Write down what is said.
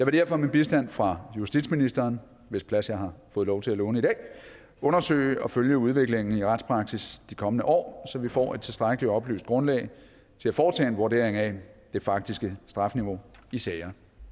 derfor med bistand fra justitsministeren hvis plads jeg har fået lov til at låne i dag undersøge og følge udviklingen i retspraksis de kommende år så vi får et tilstrækkelig oplyst grundlag til at foretage en vurdering af det faktiske strafniveau i sager